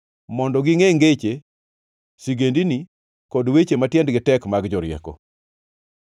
mondo gingʼe ngeche, sigendini, kod weche ma tiendgi tek mag jorieko.